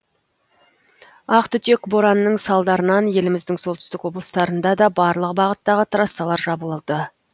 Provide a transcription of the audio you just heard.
ақтүтек боранның салдарынан еліміздің солтүстік облыстарында да барлық бағыттағы трассалар жабылды